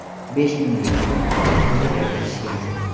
Besh ming yil oldin qanday tilda gaplashishgan?